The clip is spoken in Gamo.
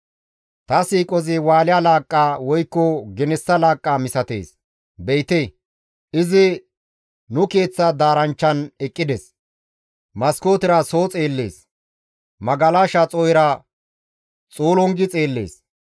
Ta siiqozi Wusha laaqqa woykko genessa laaqqa misatees. Be7ite! Izi nu keeththa daaranchchan eqqides; maskootera soo xeellees; magalasha xoo7era xuulungi xeellees.